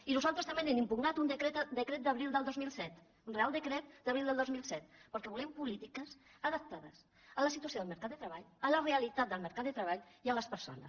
i nosaltres també hem impugnat un decret d’abril del dos mil set un reial decret d’abril del dos mil set perquè volem polítiques adaptades a la situació del mercat de treball a la realitat del mercat de treball i a les persones